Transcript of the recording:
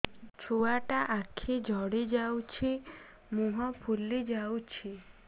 ଛୁଆଟା ଆଖି ଜଡ଼ି ଯାଉଛି ମୁହଁ ଫୁଲି ଯାଉଛି